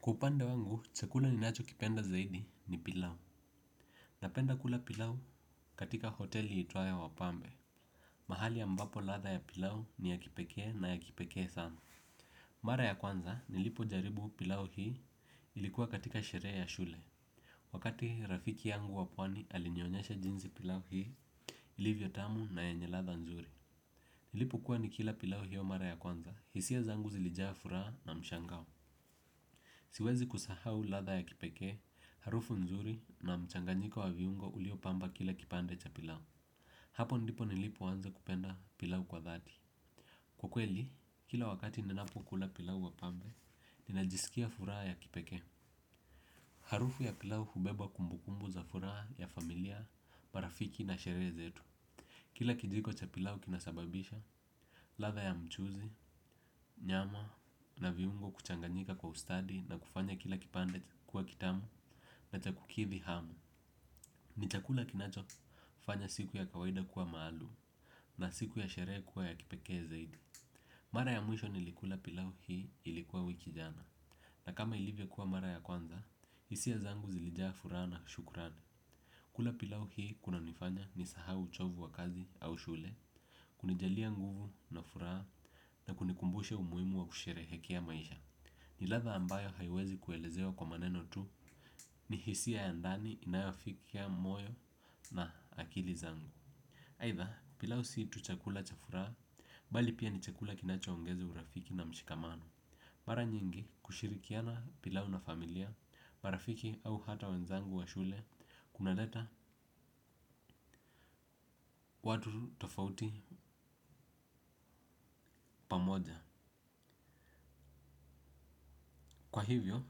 Kwa upande wangu, chakula ni nacho kipenda zaidi ni pilau. Napenda kula pilau katika hoteli itwayo wapambe. Mahali ambapo ladha ya pilau ni ya kipekee na ya kipekee sana. Mara ya kwanza nilipo jaribu pilau hii ilikuwa katika sherehe ya shule. Wakati rafiki yangu wa pwani alinioyesha jinsi pilau hii ilivyo tamu na yenye ladha nzuri. Nilipo kuwa nikila pilau hiyo mara ya kwanza, hisia zangu zilijaa furaha na mshangao. Siwezi kusahau ladha ya kipekee, harufu nzuri na mchanganyiko wa viungo ulio pamba kila kipande cha pilau. Hapo ndipo nilipo anza kupenda pilau kwa dhati. Kwa kweli, kila wakati ninapo kula pilau wa pambe, ninajisikia furaha ya kipekee. Harufu ya pilau hubeba kumbukumbu za furaha ya familia, marafiki na sherehe zetu. Kila kijiko cha pilau kinasababisha, ladha ya mchuzi, nyama na viungo kuchanganyika kwa ustadi na kufanya kila kipande kuwa kitamu na cha kukithi hamu. Ni chakula kinacho fanya siku ya kawaida kuwa maalum na siku ya sherehe kuwa ya kipekee zaidi. Mara ya mwisho nilikula pilau hii ilikuwa wiki jana. Na kama ilivyo kuwa mara ya kwanza, hisia zangu zilijaa furaha na shukurani. Kula pilau hii kunanifanya ni sahau uchovu wa kazi au shule, kunijalia nguvu na furaha na kunikumbusha umuhimu wa kusherehekea maisha. Niladha ambayo haiwezi kuelezewa kwa maneno tu ni hisia ya ndani inayafikia moyo na akili zangu. Aitha, pilau si tu chakula cha furaha, bali pia ni chakula kinacho ongeza urafiki na mshikamano. Mara nyingi kushirikiana pilau na familia, marafiki au hata wenzangu wa shule, kuna leta watu tofauti pamoja. Kwa hivyo,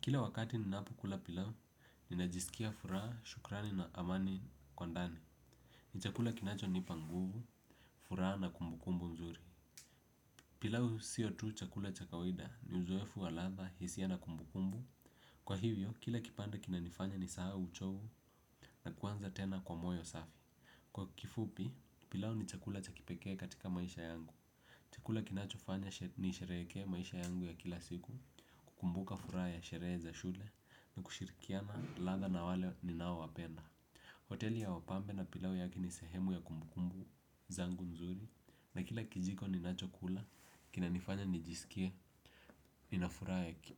kila wakati ninapo kula pilau, ninajisikia furaha, shukrani na amani kwa ndani. Ni chakula kinacho nipa nguvu, furaha na kumbukumbu nzuri. Pilau sio tu chakula cha kawida, ni uzoefu wa ladha, hisia na kumbukumbu kwa hivyo, kila kipande kinanifanya ni sahau uchovu na kuanza tena kwa moyo safi kwa kifupi, pilau ni chakula cha kipekee katika maisha yangu. Chakula kinacho fanya ni sherehekee maisha yangu ya kila siku, kukumbuka furaha ya sherehe za shule, ni kushirikiana ladha na wale ni nao wapenda. Hoteli ya wapambe na pilau yake ni sehemu ya kumbukumbu zangu nzuri na kila kijiko ninacho kula kinanifanya nijiskie nina furaha ya kipekee.